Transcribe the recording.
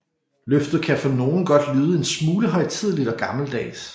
Løftet kan for nogle godt lyde en smule højtideligt og gammeldags